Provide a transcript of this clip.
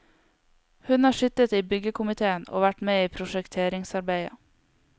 Hun har sittet i byggekomiteen og vært med i prosjekteringsarbeidet.